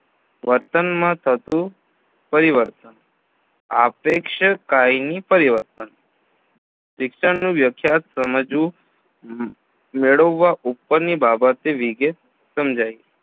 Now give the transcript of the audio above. વર્તનમાં થતું પરિવર્તન આપેક્ષ કાયમી પરિવર્તન શિક્ષણની વ્યખ્યાત સમજવું મેળવવા ઉપરની બાબતે વિગેત સમજાઈ